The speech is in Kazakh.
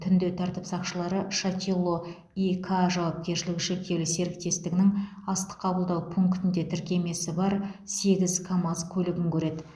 түнде тәртіп сақшылары шатило и к жауапкершілігі шектеулі серіктестігінің астық қабылдау пунктінде тіркемесі бар сегіз камаз көлігін көреді